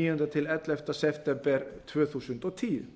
níundi ellefta september tvö þúsund og tíu